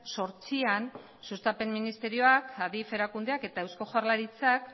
zortzian sustapen ministerioak adif erakundeak eta eusko jaurlaritzak